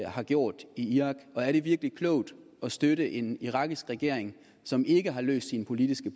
har gjort i irak og er det virkelig klogt at støtte en irakisk regering som ikke har løst sine politiske